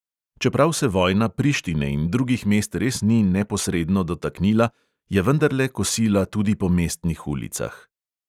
Čeprav se vojna prištine in drugih mest res ni neposredno dotaknila, je vendarle kosila tudi po mestnih ulicah.